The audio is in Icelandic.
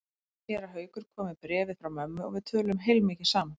Séra Haukur kom með bréfið frá mömmu og við töluðum heilmikið saman.